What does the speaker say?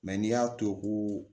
n'i y'a to ko